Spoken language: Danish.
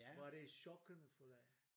Var det chokerende for dig?